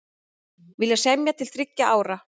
Vilja semja til þriggja ára